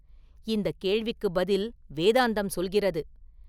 இந்தக் கேள்விக்குப் பதில் வேதாந்தம் சொல்கிறது.